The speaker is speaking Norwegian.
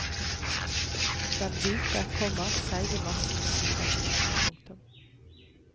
Den hvite, komma seige massen siver ut. punktum